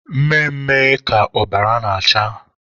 Mme mme ka ọbara na-acha.